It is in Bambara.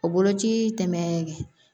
O boloci tɛmɛ